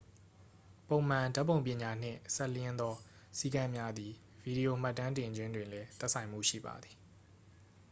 ပုံမှန်ဓာတ်ပုံပညာနှင့်စပ်လျဉ်းသောစည်းကမ်းများသည် ဗီဒီယိုမှတ်တမ်းတင်ခြင်းတွင်လည်း သက်ဆိုင်မှုရှိပါသည်